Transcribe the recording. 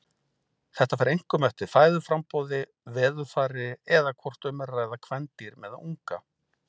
Þetta fer einkum eftir fæðuframboði, veðurfari eða hvort um er að ræða kvendýr með unga.